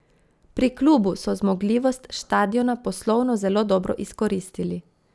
Pri klubu so zmogljivost štadiona poslovno zelo dobro izkoristili.